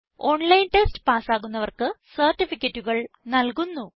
online test pass ആകുന്നവർക്ക് സർട്ടിഫിക്കറ്റുകൾ നല്കുന്നു